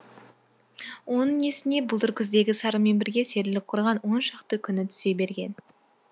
оның есіне былтыр күздегі сарымен бірге серілік құрған он шақты күні түсе берген